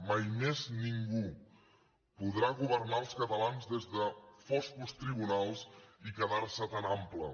mai més ningú podrà governar els catalans des de foscos tribunals i quedarse tan ample